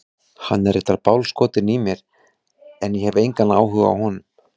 Hann er reyndar bálskotinn í mér en ég hef engan áhuga á honum.